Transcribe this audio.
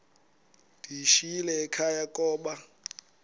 ndiyishiyile ekhaya koba